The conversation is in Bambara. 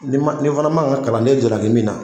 Nin ma ni fana man kan ka kalanden jalaki min na,